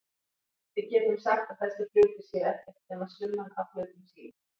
Við getum sagt að þessir hlutir séu ekkert nema summan af hlutum sínum.